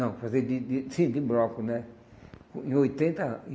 Não, para fazer de de... Sim, de broco, né? Em oitenta